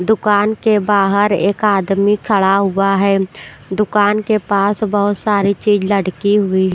दुकान के बाहर एक आदमी खड़ा हुआ है दुकान के पास बहुत सारी चीज लटकी हुई--